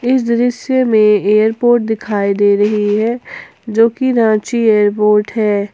इस दृश्य में एयरपोर्ट दिखाई दे रही है जो कि रांची एयरपोर्ट है।